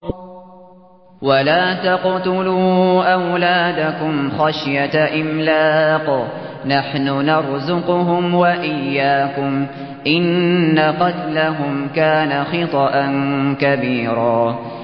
وَلَا تَقْتُلُوا أَوْلَادَكُمْ خَشْيَةَ إِمْلَاقٍ ۖ نَّحْنُ نَرْزُقُهُمْ وَإِيَّاكُمْ ۚ إِنَّ قَتْلَهُمْ كَانَ خِطْئًا كَبِيرًا